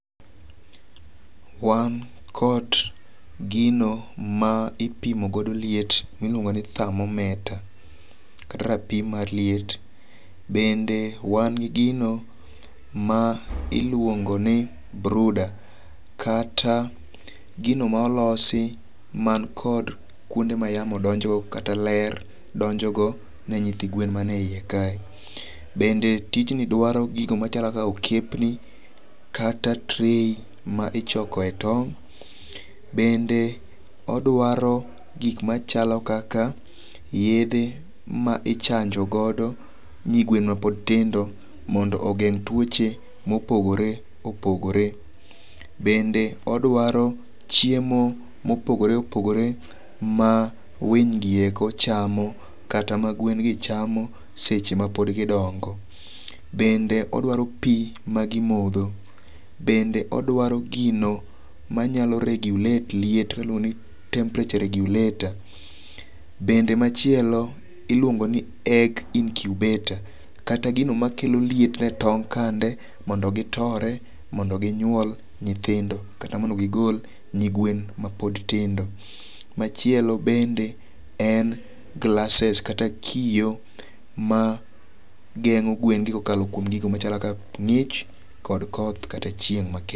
Wan kod gino ma ipimo godo liet miluongo ni thermometer kata rapim mar liet bende ewan gi gino ma iluongo ni brooder kata gino molosi man kod kuonde ma yamo donjo go kata ler donjo go ne nyithi gwen man eiye ka. Bende tijni dwaro gigo machalo kaka okepni kata tray ma ichoko e tong' . Bende odwaro gik machalo kaka yedhe ma ichanjo godo nyi gwen ma pod tindo mondo ogeng' tuoche mopogore opogore. Bende odwari chiemo mopogore opogore ma winy gi eko chamo kata ma gwen gi chamo seche ma pod gidongo. Bende odwaro pii ma gimodho bende odwari gino manyalo regulate liet iluongo ni temperaure regulator. Bende machielo iluongo ni egg incubator kata gino makelo liet e tong kande mondo gitore mondo ginyuol nyithindo kata mondo gigol nyi gwen mapod tindo .Machielo bende en glasses kata kiyo ma geng'o gwen kuom gigo machalo kaka ng'ich kod koth kod chieng' makech.